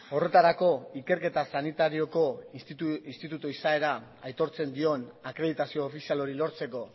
horretarako ikerketa sanitarioko institutu izaera aitortzen dion akreditazio ofizial hori lortzeko